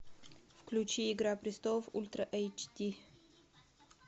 включи игра престолов ультра эйч ди